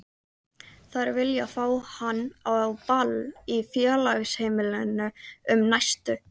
Þær vilja fá hann á ball í Félagsheimilinu um næstu